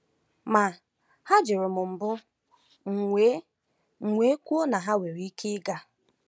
Ma, ha jụrụ m mbụ, m wee m wee kwuo na ha nwere ike ịga.”